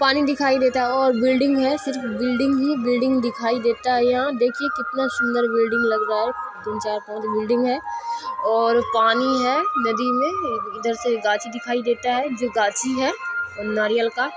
पानी दिखाई देता है और बिल्डिंग है सिर्फ बिल्डिंग ही बिल्डिंग दिखाई देता है यहाँ देखिये कितना सूंदर बिल्डिंग लग रहा है तीन चार बिल्डिंग है और पानी है नदी मे है और ईधर से गाछी दिखाई देता है जो गाछी है नारियल का --